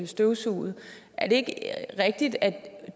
støvsuget er det ikke rigtigt at